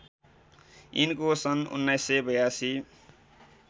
यिनको सन् १९८२